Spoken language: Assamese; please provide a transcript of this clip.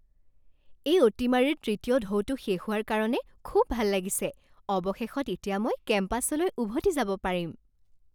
এই অতিমাৰীৰ তৃতীয় ঢৌটো শেষ হোৱাৰ কাৰণে খুব ভাল লাগিছে। অৱশেষত এতিয়া মই কেম্পাছলৈ উভতি যাব পাৰিম।